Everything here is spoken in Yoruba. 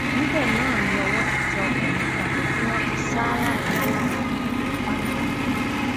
níbẹ náà ni ọwọ ti tẹ ọkùnrin kan tí wọn ti sá ládàá lórí àti ní apá